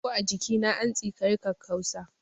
Ko a jikina, an tsikari kakkausa.